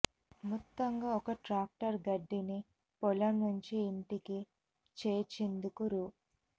మొత్తంగా ఒక్క ట్రాక్టర్ గడ్డిని పొలం నుంచి ఇంటికి చేర్చేందుకు రూ